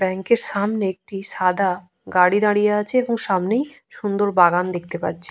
Bank -এর সামনে একটি সাদা গাড়ি দাঁড়িয়ে আছে এবং সামনেই সুন্দর বাগান দেখতে পাচ্ছি।